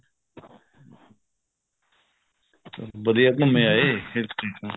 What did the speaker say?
ਵਧੀਆ ਘੁੰਮ ਆਏ hill station